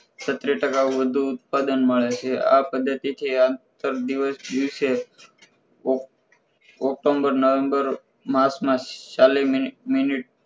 છત્રી ટકા વધુ ઉત્પાદન મળે છે આ પદ્ધતિથી આંતર દિવસ દિવસે ઑ october, november માસ ના ચાલીસ મિની મિનિટ